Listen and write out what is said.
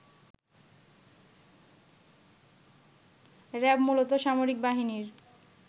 RAB মূলত সামরিক বাহিনীর